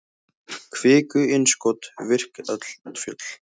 kviku-innskot virk eldfjöll